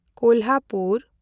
Kolhapur